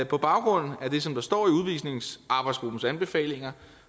på baggrund af det som der står i udvisningsarbejdsgruppens anbefalinger